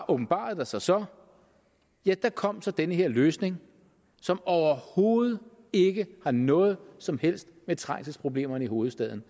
åbenbarede sig så ja der kom så den her løsning som overhovedet ikke har noget som helst med trængselsproblemerne i hovedstaden